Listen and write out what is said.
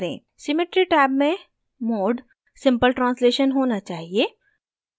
symmetry tab में mode simple translation होना चाहिए